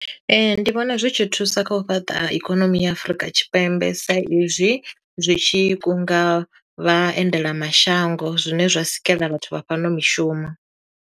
Ee ndi vhona zwi tshi thusa kha u fhaṱa ikonomi ya Afrika Tshipembe sa izwi zwitshi kunga vha endelamashango zwine zwa sikela vhathu vha fhano mishumo.